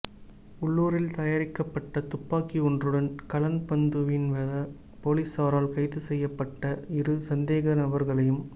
உள்ளூரில் தயாரிக்கப்பட்ட துப்பாக்கியொன்றுடன் கலன்பிந்துனுவெவ பொலிஸாரால் கைது செய்யப்பட்ட இரு சந்தேக நபர்களையும்